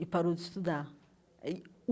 E parou de estudar aí o.